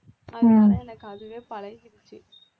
அதனால எனக்கு அதுவே பழகிடுச்சு